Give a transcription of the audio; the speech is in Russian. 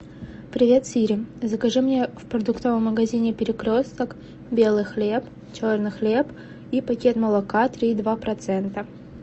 привет сири закажи мне в продуктовом магазине перекресток белый хлеб черный хлеб и пакет молока три и два процента